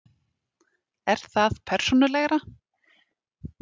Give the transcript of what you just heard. Er það persónulegra?